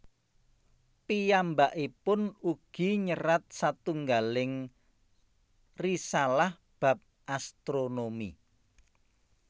Piyambakipun ugi nyerat satunggaling risalaha bab astronomi